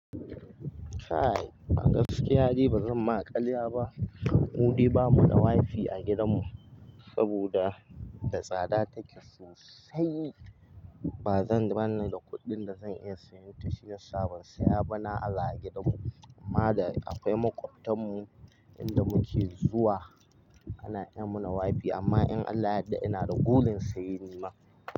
Kai, a gaskiyade ba zan ma ƙarya ba. Mudau bamu da wifi a gidanmu saboda da tsada take sosai. Ba zan bani da kuɗin da zan iya sayan ta shiyasa ban saya ba na aza a gidanmu. Amma da akwai makwaptan mu inda muke zuwa ana yi mana wifi amma in Allah ya da, ina da burin saye nima.